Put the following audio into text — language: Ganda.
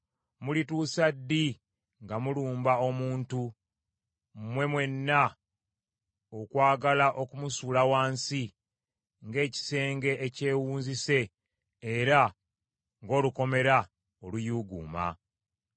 Mulituusa ddi nga mulumba omuntu, mmwe mwenna okwagala okumusuula wansi ng’ekisenge ekyewunzise era ng’olukomera oluyuuguuma?